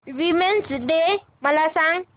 women's day मला सांग